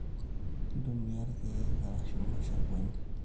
Intumia ikaek arashu mashakwani